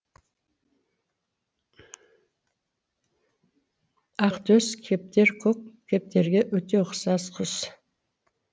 ақтөс кептер көк кептерге өте ұқсас құс